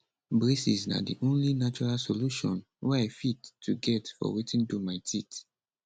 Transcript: braces na di only natural solution wey i fit to get for wetin do my teeth